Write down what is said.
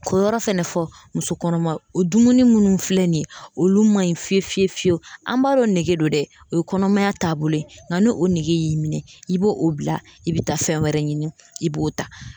K'o yɔrɔ fɛnɛ fɔ muso kɔnɔma o dumuni minnu filɛ nin ye olu man ɲi fiye fiye fiyewu an b'a dɔn nege don dɛ o ye kɔnɔmaya taabolo ye nka n'o nege y'i minɛ i b'o o bila i bɛ taa fɛn wɛrɛ ɲini i b'o ta